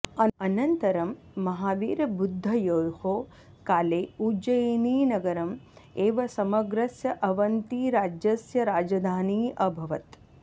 अनन्तरं महावीरबुद्धयोः काले उज्जयिनीनगरम् एव समग्रस्य अवन्तीराज्यस्य राजधानी अभवत्